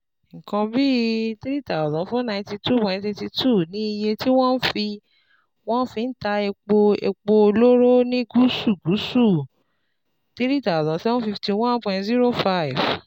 Nǹkan bí N three thousand four hundred twenty nine point eight two ni iye tí wọ́n fi wọ́n fi ń ta epo epo olóró ní Gúúsù-Gúúsù, N three thousand seven hundred fifty one point zero five